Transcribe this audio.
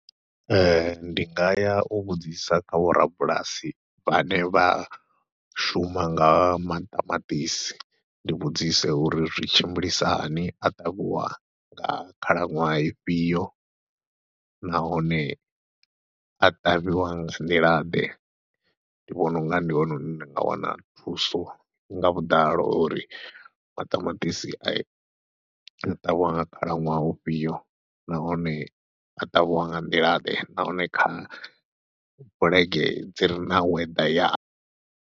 Ee, ndi nga ya u vhudzisa kha vho rabulasi vhane vha shuma nga maṱamaṱisi, ndi vhudzise uri zwi tshimbilisahani, a ṱavhiwa nga khalaṅwaha ifhio, nahone a ṱavhiwa nga nḓilaḓe, ndi vhona unga ndi hone hune ndi nga wana thuso nga vhuḓalo uri maṱamaṱisi a, a ṱavhiwa nga khalaṅwaha ufhio, nahone a ṱavhiwa nga nḓila ḓe, nahone kha bulege dzi re na weather ya.